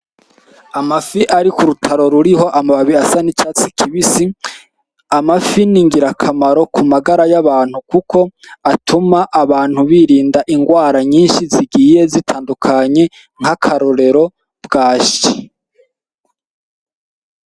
Amafi ari kurutaro ruriho amababi asa n'icatsi kibisi amafi ni ngira kamaro ku magara y'abantu kuko atuma abantu birinda ingwara nyinshi zigiye zitandukanye nk'akarorero bwashi .